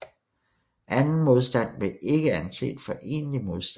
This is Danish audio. Anden modstand blev ikke anset for egentlig modstand